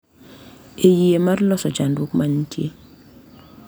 E yie mar loso chandruok ma nitie.